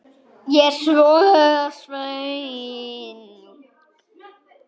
Ég er svo svöng.